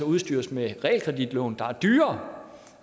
udstyres med realkreditlån der er dyrere